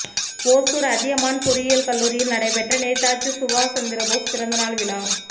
ஒசூா் அதியமான் பொறியியல் கல்லூரியில் நடைபெற்ற நேதாஜி சுபாஷ் சந்திரபோஸ் பிறந்த நாள் விழா